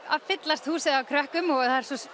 að fyllast húsið af krökkum og